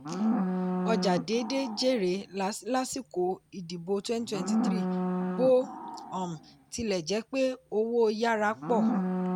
ọjà déédé jèrè lásìkò ìdìbò twenty twenty three bó um tilẹ̀ jẹ́ pé owó yára pọ̀.